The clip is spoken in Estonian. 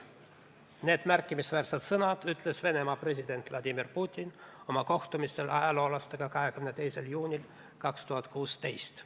" Need märkimisväärsed sõnad ütles Venemaa president Vladimir Putin oma kohtumisel ajaloolastega 22. juunil 2016.